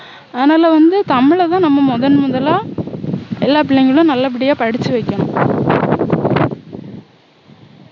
அதனால வந்து தமிழதான் நம்ம வந்து முதன்முதலா எல்லா பிள்ளைங்களும் நல்லபடியா படிச்சு வைக்கணும்